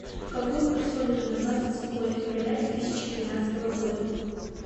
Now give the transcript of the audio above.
какой курс валюты на двадцать седьмое февраля две тысячи тринадцатого года